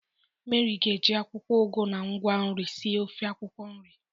Meri ga-eji akwụkwọ ugu na ngwa nri sie ofe akwukwo nri.